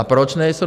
A proč nejsou?